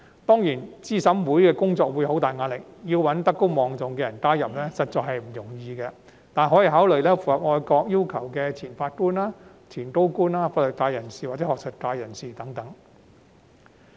當然，資審會的工作會面對很大壓力，要找德高望重的人加入，實在不容易，但可以考慮符合愛國要求的前法官、前高官、法律界或學術界人士等。